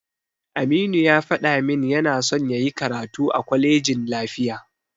Aminu ya faɗa min yana son yayi karatu a kwalejin lafiya.